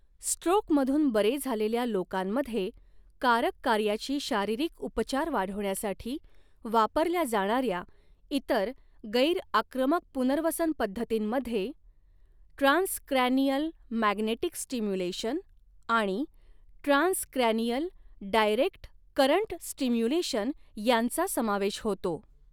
स्ट्रोकमधून बरे झालेल्या लोकांमध्ये कारक कार्याची शारीरिक उपचार वाढवण्यासाठी वापरल्या जाणार्या इतर गैर आक्रमक पुनर्वसन पद्धतींमध्ये ट्रान्सक्रॅनियल मॅग्नेटिक स्टिम्युलेशन आणि ट्रान्सक्रॅनियल डायरेक्ट करंट स्टिम्युलेशन यांचा समावेश होतो.